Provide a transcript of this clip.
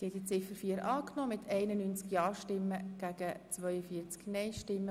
Sie haben Ziffer 4 der Motion als Postulat angenommen.